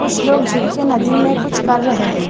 कुछ लोग झुक के नदी में कुछ कर रहे हैं ।